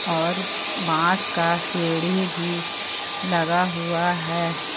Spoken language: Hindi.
और बांस का सीढ़ी भी लगा हुआ है।